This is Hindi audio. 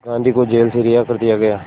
गांधी को जेल से रिहा कर दिया गया